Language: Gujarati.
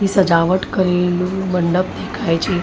થી સજાવટ કરેલું મંડપ દેખાય છે.